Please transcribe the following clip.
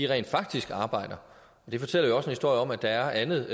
rent faktisk arbejder det fortæller jo også en historie om at der er andet